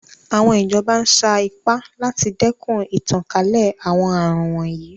Àwọn ìjọba ń sa ipá láti dẹ́kun ìtànkálẹ̀ àwọn àrùn wọ̀nyí.